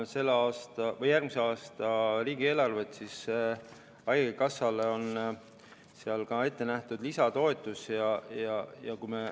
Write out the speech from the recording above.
Kui me vaatame järgmise aasta riigieelarvet, siis haigekassale on seal ka ette nähtud lisatoetus.